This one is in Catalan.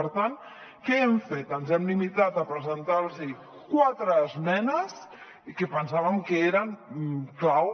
per tant què hem fet ens hem limitat a presentar los quatre esmenes que pensàvem que eren clau